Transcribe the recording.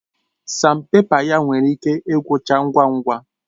Sanpèpa ya nwere ike igwucha ngwa ngwa